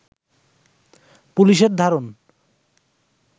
পুলিশের ধারণ